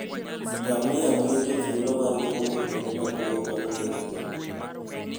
Ngamia miyo ji thuolo mar wuotho kuonde maboyo maonge hinyruok.